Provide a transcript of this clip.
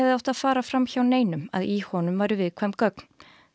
átt að fara fram hjá neinum að í honum væru viðkvæm gögn